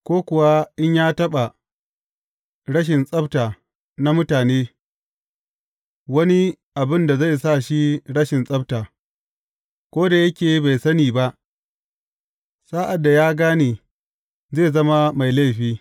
Ko kuwa in ya taɓa rashin tsabta na mutane, wani abin da zai sa shi rashin tsabta; ko da yake bai sani ba, sa’ad da ya gane, zai zama mai laifi.